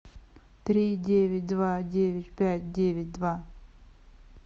три девять два девять пять девять два